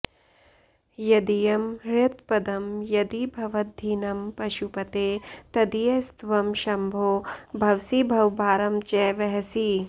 यदीयं हृत्पद्मं यदि भवदधीनं पशुपते तदीयस्त्वं शम्भो भवसि भवभारं च वहसि